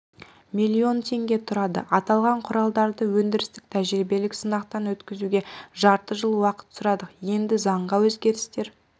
млн теңге тұрады аталған құралдарды өндірістік-тәжірибелік сынақтан өткізуге жарты жыл уақыт сұрадық енді заңға өзгерістер